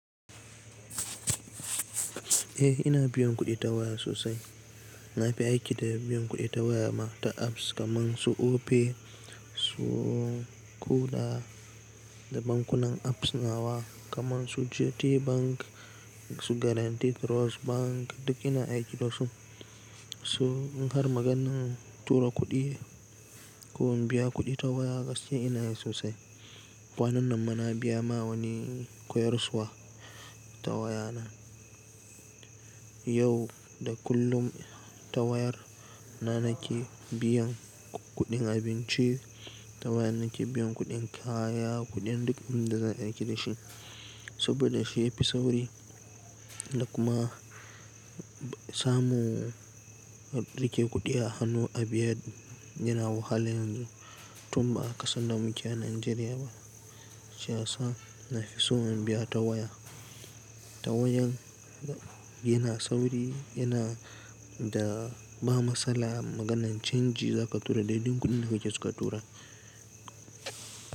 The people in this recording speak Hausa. Eh ina biyan kuɗi ta waya sosai. Na fi aiki da biyan kuɗi ta waya ma ta apps kamar su Opay, su Kuda da bankunan apps nawa kamar su GTBank, su Guaranty Trust Bank duk ina aiki da su. Su har maganan tura kuɗi ko in biya kuɗi ta waya gaskiya ina yi sosai. A kwanannan ma na biya ma wani koyarsuwa ta waya na. Yau da kullum ta wayar na nake biyan kuɗin abinci, ta wayar nake biyan kuɗin kaya, kuɗin duk abun da za a yi aiki da shi. Saboda shi ya fi sauri da kuma samu rike kuɗi a hannu a biya yana wahala yanzu tun ba kasan da muke a Najeriya ba. Shi ya sa na fi so in biya ta waya. Ta wayan yana sauri, yana da ba matsala maganan canji za ka tura daidan kuɗin da kake soka tura.